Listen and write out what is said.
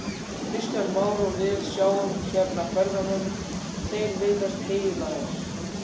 Kristján Már: Og við sjáum hérna ferðamenn, þeir virðast heillaðir?